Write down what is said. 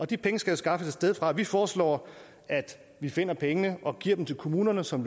de penge skal skaffes et sted fra og vi foreslår at vi finder pengene og giver dem til kommunerne som